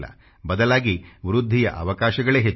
ಬದಲಾಗಿ ವೃದ್ಧಿಯ ಅವಕಾಶಗಳೇ ಹೆಚ್ಚು